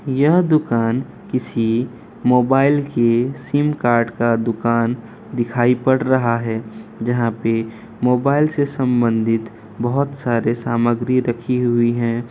यह दुकान किसी मोबाइल के सिम कार्ड का दुकान दिखाई पड़ रहा है जहाँ पर मोबाइल से संबंधित बहुत सारे सामग्री रखी हुई है।